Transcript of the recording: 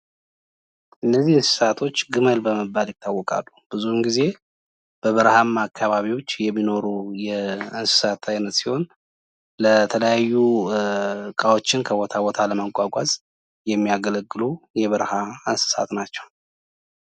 እነዚህ እንስሳቶች ግመል በመባል ይታወቃሉ ብዙውን ጊዜ ብበርሃማ አካባቢዎች የሚኖሩ የእንስሳት አይነት ሲሆን የተለያዩ እቃዎችን ከቦታ ቦታ ለማጓጓዝ የሚያገለግሉ የበረሃ እንስሳት ናቸው።